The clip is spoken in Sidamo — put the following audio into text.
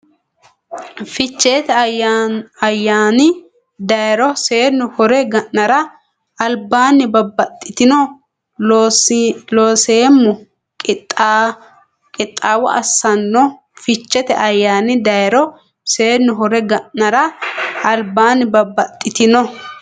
Ficheete ayyaani dayro seennu hore ga nara albaanni babbaxxitino Looseemmo qixxaawo assanno Ficheete ayyaani dayro seennu hore ga nara albaanni babbaxxitino.